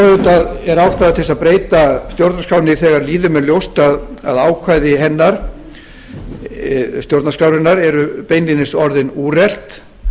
auðvitað ástæða til að breyta stjórnarskránni þegar lýðum er ljóst að ákvæði hennar eru beinlínis orðin úrelt